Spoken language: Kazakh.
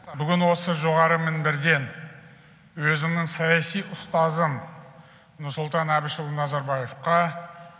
бүгін осы жоғары мінберден өзімнің саяси ұстазым нұрсұлтан әбішұлы назарбаевқа